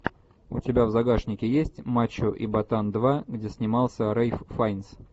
у тебя в загашнике есть мачо и ботан два где снимался рэйф файнс